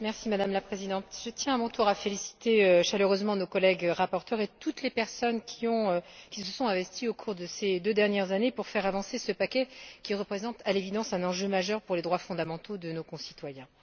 Madame la Présidente, je tiens à mon tour à féliciter chaleureusement nos collègues rapporteurs et toutes les personnes qui se sont investies au cours de ces deux dernières années pour faire avancer ce paquet qui représente, à l'évidence, un enjeu majeur pour les droits fondamentaux de nos concitoyens.